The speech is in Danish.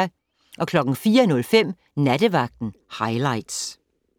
04:05: Nattevagten highlights